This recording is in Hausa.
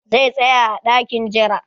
Zai tsaya a dakin jira.